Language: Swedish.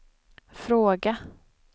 fråga